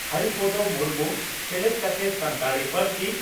ᱦᱚᱨᱤᱯᱚᱫᱳ ᱢᱩᱨᱢᱩ ᱥᱮᱞᱮᱫ ᱠᱟᱛᱮ ᱥᱟᱱᱛᱟᱲᱤ ᱯᱟᱹᱨᱥᱤ